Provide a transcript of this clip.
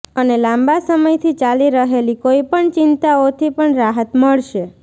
અને લાંબા સમયથી ચાલી રહેલી કોઈપણ ચિંતાઓથી પણ રાહત મળશે